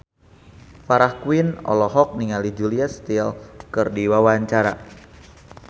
Farah Quinn olohok ningali Julia Stiles keur diwawancara